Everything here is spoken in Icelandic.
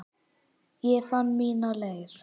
Ég fann mína leið.